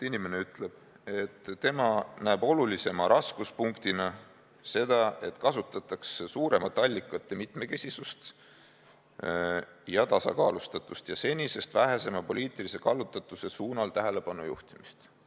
Inimene ütleb konkreetselt, et tema näeb olulisema raskuspunktina seda, et kasutatakse suuremat allikate mitmekesisust ja tasakaalustatust ja senisest vähesema poliitilise kallutatuse suunal tähelepanu juhtimist.